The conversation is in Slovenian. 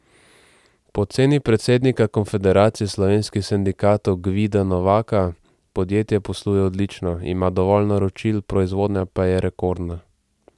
Po oceni predsednika Konfederacije slovenskih sindikatov Gvida Novaka podjetje posluje odlično, ima dovolj naročil, proizvodnja pa je rekordna.